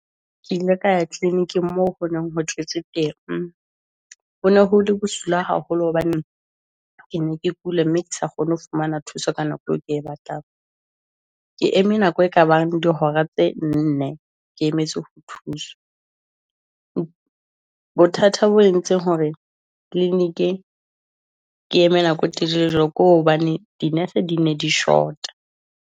Ke ile ka ya clinic-ing mo honeng ho tletse teng, hone hole bosula haholo hobane ke ne ke kula, mme ke sa kgone ho fumana thuso, ka nako eo ke batlang. Ke eme nako e ka bang di hora tse nne, ke emetse ho thuswa, bothata bo entseng hore , ke eme nako e telele jwalo, ke hobane dinese di ne di short-a.